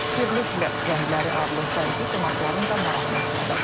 Birliklə rəngləri adlı sərgi qonaqların da marağına səbəb olub.